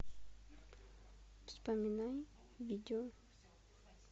вспоминай видео